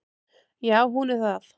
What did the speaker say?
Já hún er það.